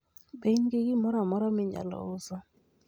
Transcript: Be in gi gimoro amora minyalo uso?